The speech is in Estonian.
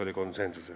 Teile küsimusi ei ole.